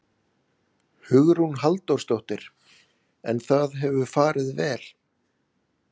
Hugrún Halldórsdóttir: En það hefur farið vel?